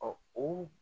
o